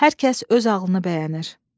Hər kəs öz ağlını bəyənir.